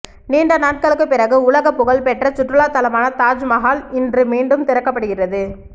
நீண்ட நாட்களுக்கு பிறகு உலக புகழ் பெற்ற சுற்றுலா தளமான தாஜ் மஹால் இன்று மீண்டும் திறக்கப்படுகிறது